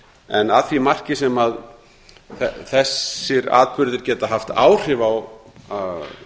en að því marki sem þessir atburðir geta haft áhrif á